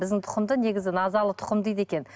біздің тұқымда негізі назалы тұқым дейді екен